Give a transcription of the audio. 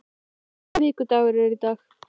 Blær, hvaða vikudagur er í dag?